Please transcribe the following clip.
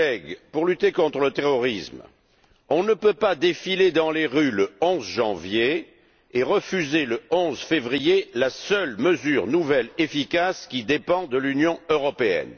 Chers collègues, pour lutter contre le terrorisme, on ne peut pas défiler dans les rues le 11 janvier et refuser, le 11 février, la seule nouvelle mesure efficace qui dépend de l'Union européenne!